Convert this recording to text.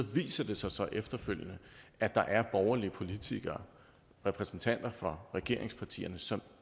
viser det sig så efterfølgende at der er borgerlige politikere repræsentanter for regeringspartierne som